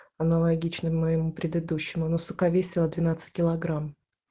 аналогично моему предыдущему но сука весила двенадцать килограмм